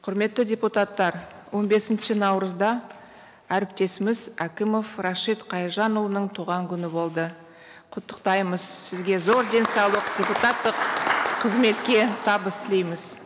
құрметті депутаттар он бесінші наурызда әріптесіміз әкімов рашит қайыржанұлының туған күні болды құттықтаймыз сізге зор денсаулық депутаттық қызметке табыс тілейміз